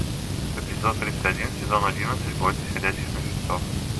эпизод тридцать один сезон одиннадцать бойтесь ходячих мертвецов